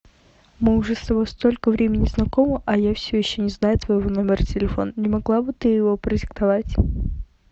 мы уже с тобой столько времени знакомы а я все еще не знаю твоего номера телефона не могла бы ты его продиктовать